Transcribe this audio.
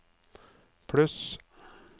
pluss